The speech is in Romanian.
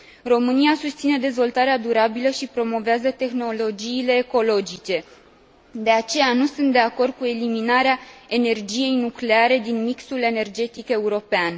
România susține dezvoltarea durabilă și promovează tehnologiile ecologice, de aceea nu sunt de acord cu eliminarea energiei nucleare din mixul energetic european.